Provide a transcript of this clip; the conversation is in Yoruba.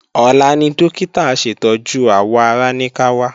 Ọ̀la ni Dókítà aṣètọ́jú àwọ̀ ara ní ká wá